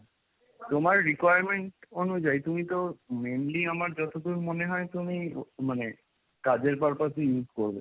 তোমার requirement অনুযায়ী তুমি তো mainly আমার যতদূর মনে হয় তুমি মানে কাজের purpose এ use করবে